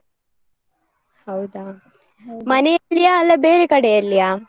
ಹೌದಾ? ಮನೆಯಲ್ಲಿಯಾ? ಅಲ್ಲಾ ಬೇರೆ ಕಡೆಯಲ್ಲಿಯಾ?